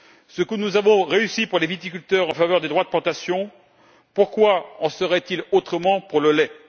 Ce que nous avons réussi pour les viticulteurs en faveur des droits de plantation, pourquoi en serait il autrement pour le lait?